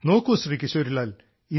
നോക്കൂ ശ്രീ കിശോരി ലാൽ